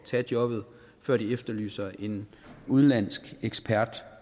tage jobbet før de efterlyser en udenlandsk ekspert